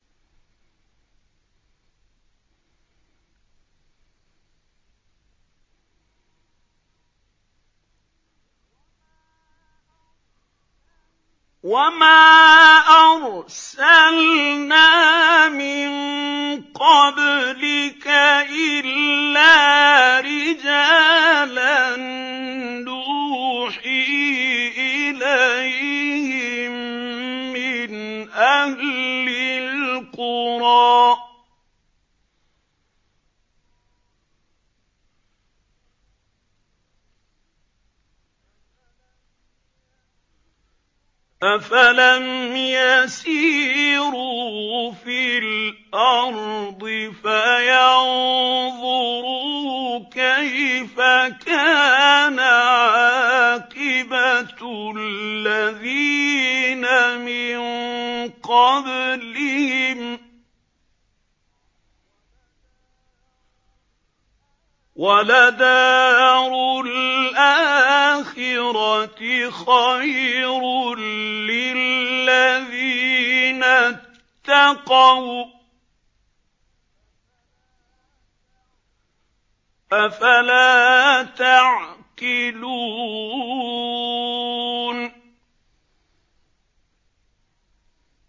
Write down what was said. وَمَا أَرْسَلْنَا مِن قَبْلِكَ إِلَّا رِجَالًا نُّوحِي إِلَيْهِم مِّنْ أَهْلِ الْقُرَىٰ ۗ أَفَلَمْ يَسِيرُوا فِي الْأَرْضِ فَيَنظُرُوا كَيْفَ كَانَ عَاقِبَةُ الَّذِينَ مِن قَبْلِهِمْ ۗ وَلَدَارُ الْآخِرَةِ خَيْرٌ لِّلَّذِينَ اتَّقَوْا ۗ أَفَلَا تَعْقِلُونَ